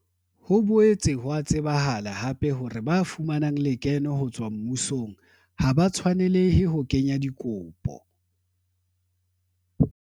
Ho boetse ho a tsebahala hape le hore ba fumanang lekeno ho tswa mmusong ha ba tshwanelehe ho kenya dikopo.